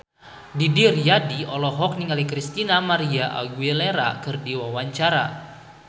Didi Riyadi olohok ningali Christina María Aguilera keur diwawancara